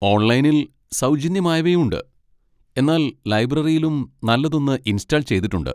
ഓൺലൈനിൽ സൗജന്യമായവയുണ്ട്, എന്നാൽ ലൈബ്രറിയിലും നല്ലതൊന്ന് ഇൻസ്റ്റാൾ ചെയ്തിട്ടുണ്ട്.